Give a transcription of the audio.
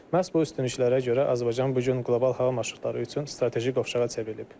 Məhz bu üstünlüklərə görə Azərbaycan bu gün qlobal hava marşrutları üçün strateji ovşağa çevrilib.